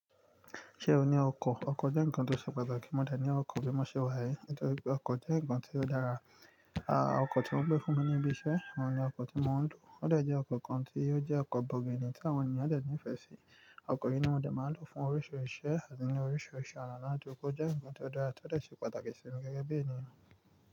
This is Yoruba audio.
Ṣé o ní ọkọ̀? Ọkọ̀ jẹ́ ǹkan tó ṣe pàtàkì. Mo de ní ọkọ̀ bí mo ṣe wà yii, nítorí pé ọkọ̀ jẹ́ ǹkan tí ó dára. Àà, ọkọ̀ tí wọ́n gbé fún mi níbí iṣẹ́, oun ni ọkọ̀ tí mò ń lò. Ó de jẹ́ ọkọ̀ kan tí ó jẹ́ ọkọ̀ bọ̀gìnì tí àwọn ènìyàn de ní ìfẹ́ sí. Ọkọ̀ yìí ni mo de máa ń lò fún oríṣiríṣi iṣẹ́ àti ní oríṣiríṣi oná ládugbo Ó jẹ́ ǹkan tí ó dára ti ó dà ṣe pàtàkì sí mi gẹ́gẹ́ bí ènìyàn.